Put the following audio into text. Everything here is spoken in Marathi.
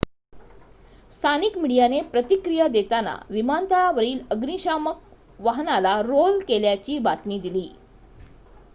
स्थानिक मीडियाने प्रतिक्रिया देताना विमानतळावरील अग्निशमन वाहनाला रोल केल्याची बातमी दिली